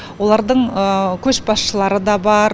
олардың көшбасшылары да бар